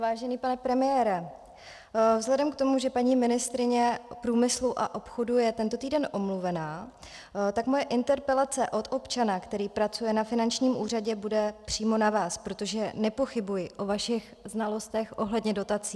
Vážený pane premiére, vzhledem k tomu, že paní ministryně průmyslu a obchodu je tento týden omluvena, tak moje interpelace od občana, který pracuje na finančním úřadě, bude přímo na vás, protože nepochybuji o vašich znalostech ohledně dotací.